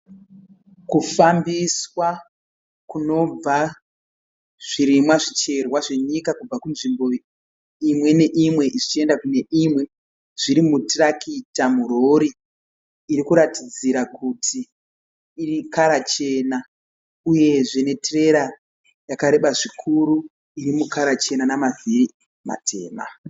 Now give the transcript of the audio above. Kufambiswa kunobva zvirimwa zvicherwa zvenyika kubva kunzvimbo imwe neimwe zvichienda kune imwe zviri mutirakita murori iri kuratidzira kuti ikara chena uyezve netirera yakareba zvikuru iri mukara chena namavhiri matema.